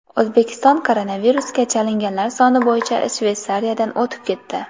O‘zbekiston koronavirusga chalinganlar soni bo‘yicha Shveysariyadan o‘tib ketdi.